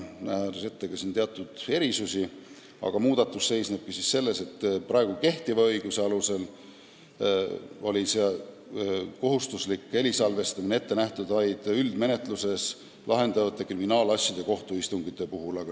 Nähakse küll ette ka teatud erisusi, aga muudatus seisnebki selles, et praegu kehtiva õiguse alusel on kohustuslik helisalvestamine ette nähtud vaid üldmenetluses lahendatavate kriminaalasjade kohtuistungite puhul.